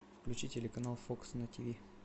включи телеканал фокс на тв